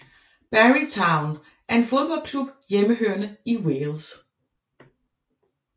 Barry Town er en fodboldklub hjemmehørende i Wales